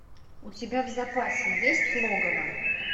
у тебя в запасе есть логово